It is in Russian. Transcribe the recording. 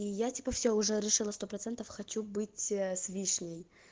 и я типо все уже решила сто процентов хочу быть ээ с вишней